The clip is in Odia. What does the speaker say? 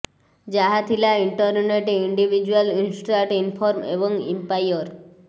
ଯାହା ଥିଲା ଇଂଟରନେଟ୍ ଇଣ୍ଡିଭିଜ୍ୟୁଆଲ୍ ଇଷ୍ଟ୍ରାଟ ଇନଫର୍ମ ଏବଂ ଇମ୍ପାୟର